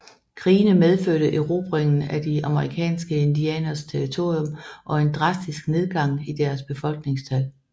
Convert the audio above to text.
Krigene medførte erobringen af de amerikanske indianeres territorium og en drastisk nedgang i deres befolkningstal